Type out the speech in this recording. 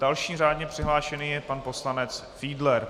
Další řádně přihlášený je pan poslanec Fiedler.